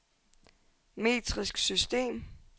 metrisk system